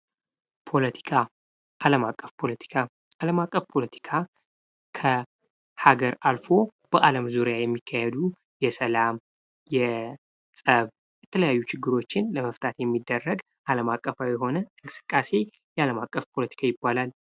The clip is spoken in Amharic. ፖለቲካ፦ አለም አቀፍ ፖለቲካ ፦አለም አቀፍ ፖለቲካ ከሀገር አልፎ በዓለም ዙሪያ የሚካሄዱ የሰላም ፣የጸብ የተለያዩ ችግሮችን ለምፍታት የሚደረግ አለም አቀፋዊ የሆነ እንቅስቃሴ አለም አቀፍ ፖለቲካ ይባላል።